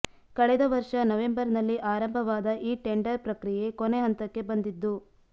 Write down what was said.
ಕಳೆದ ವರ್ಷ ನವೆಂಬರ್ನಲ್ಲಿ ಆರಂಭವಾದ ಈ ಟೆಂಡರ್ ಪ್ರಕ್ರಿಯೆ ಕೊನೆ ಹಂತಕ್ಕೆ ಬಂದಿದ್ದು